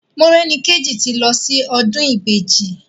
Morẹ́nikéjì ti lọ sí ọdún Ìbejì.